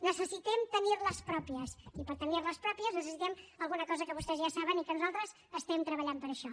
necessitem tenir les pròpies i per tenir les pròpies necessitem alguna cosa que vostès ja saben i que nosaltres estem treballant per això